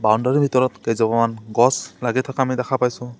Boundary ৰ ভিতৰত কেজোপামান গছ লাগি থকা আমি দেখা পাইছোঁ।